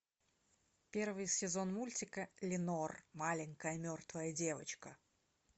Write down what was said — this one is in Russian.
первый сезон мультика ленор маленькая мертвая девочка